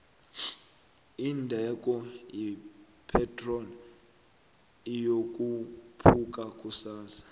indengo ye pitrol iyokhupuka kusasa